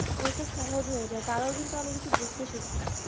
অনেকটা সহজ হয়ে যায় তারাও কিন্তু অনেক কিছু বুঝতে শেখে